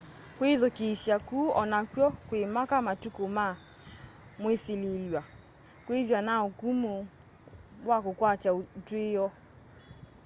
kwithukiisya kuu onakw'o kwimaka matuku ma mwisililw'a kwithwa na ukumu wa kukwata utwio